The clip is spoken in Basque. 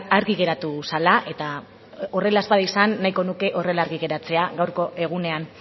argi geratu zela eta horrela ez bada izan nahiko nuke horrela argi geratzea gaurkoa egunean